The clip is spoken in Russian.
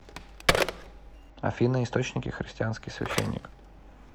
афина источники христианский священник